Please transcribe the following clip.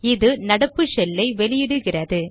இது நடப்பு ஷெல் ஐ வெளியிடுகிறது